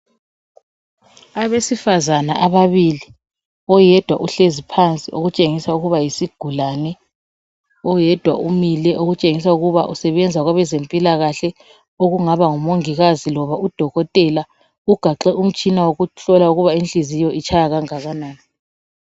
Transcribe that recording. Abesifazana ababili oyedwa uhlezi phansi okutshengisa ukuba yisigulani oyedwa umile okutshengisa ukuba usebenza kwabeze mpilakahle okungaba ngumongikazi loba udolotela ugaxe umtshina wokuhlola ukuba inhliziyo itshaya okungakanani.